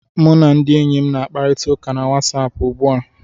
M na ndị enyi m na-akparịta ụka na Wasapụ ugbu a